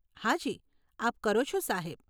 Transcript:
હાજી, આપ કરો છો સાહેબ.